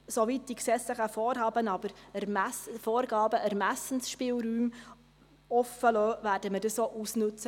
Soweit die gesetzlichen Vorhaben aber Ermessensspielräume offenlassen, werden wir diese auch ausnützen.